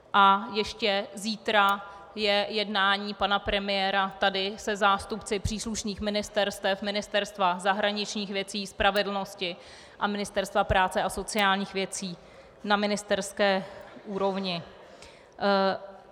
A ještě zítra je jednání pana premiéra tady se zástupci příslušných ministerstev - Ministerstva zahraničních věcí, spravedlnosti a Ministerstva práce a sociálních věcí - na ministerské úrovni.